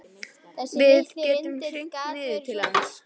Við gætum hringt niður til hans.